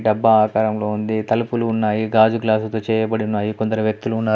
డబ్బా ఆకారంలో ఉంది. తలుపులు ఉన్నాయి. గాజు గ్లాసుతో చేయబడున్నాయి. కొందరు వ్యక్తులు ఉన్నారు.